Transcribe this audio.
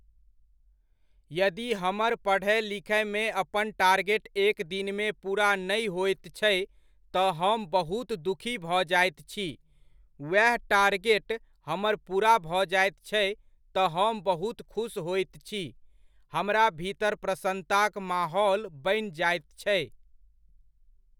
यदि हमर पढ़य लिखयमे अपन टारगेट एक दिनमे पूरा नहि होइत छै, तऽ हम बहुत दुःखी भऽ जाइत छी, उएह टारगेट हमर पूरा भऽ जाइत छै तऽ हम बहुत खुश होइत छी , हमरा भीतर प्रसन्नताक माहौल बनि जाइत छै।